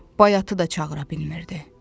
Bayatını da çağıra bilmirdi.